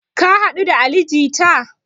Ka haɗu da ali jita?